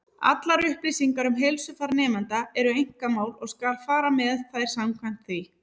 Allar upplýsingar um heilsufar nemenda eru einkamál, og skal fara með þær samkvæmt því.